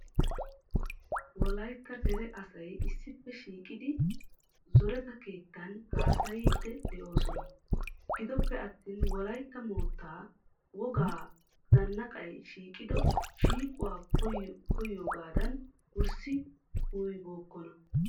wolaytta dere asay issippe shiiqidi zoretta keettan haasayiidi doisona. gidope attin wolaytta mootaa wogaa zanaqay shiiqido shiiquwa koyoogaadan wurssi kuuyibookkona.